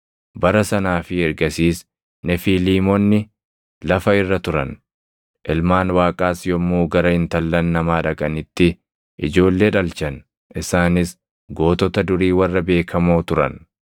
Bara sanaa fi ergasiis Nefiiliimonni lafa irra turan; ilmaan Waaqaas yommuu gara intallan namaa dhaqanitti ijoollee dhalchan. Isaanis gootota durii warra beekamoo turan.